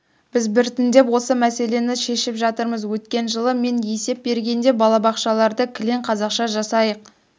біз біртіндеп осы мәселені шешіп жатырмыз өткен жылы мен есеп бергенде балабақшаларды кілең қазақша жасайық